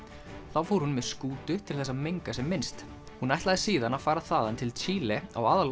þá fór hún með skútu til þess að menga sem minnst hún ætlaði síðan að fara þaðan til Chile á